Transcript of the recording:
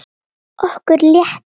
Okkur létti.